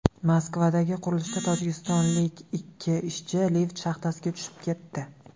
Moskvadagi qurilishda tojikistonlik ikki ishchi lift shaxtasiga tushib ketdi.